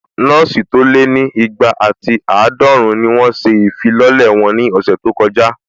Nọ́ọ̀sì tó lé ní igba àti àádọ́run ni wọ́n ṣe ìfilọ́lẹ̀ wọn ní ọ̀sẹ̀ tó kọjá